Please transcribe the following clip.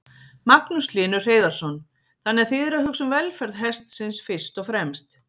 Magnús Hlynur Hreiðarsson: Þannig að þið eruð að hugsa um velferð hestsins fyrst og fremst?